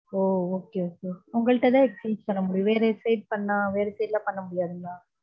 ஓ okay okay உங்கள்கிட்ட தான் exchange பண்ண முடியும் வேற website பண்ணா, வேற side ல பண்ண முடியாதுங்களா.